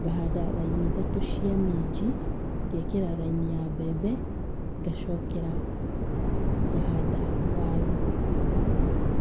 ngahanda raini ithatũ cia minji, ngekĩra raini ya mbembe, ngacokera, ngahanda waru.